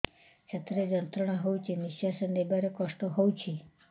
ଛାତି ରେ ଯନ୍ତ୍ରଣା ହଉଛି ନିଶ୍ୱାସ ନେବାରେ କଷ୍ଟ ହଉଛି